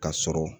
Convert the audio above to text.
Ka sɔrɔ